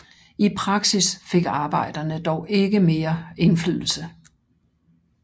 I praksis fik arbejderne dog ikke mere indflydelse